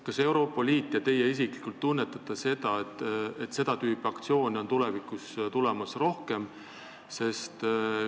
Kas Euroopa Liit ja teie isiklikult tunnetate, et seda tüüpi aktsioone on tulevikus tulemas rohkem?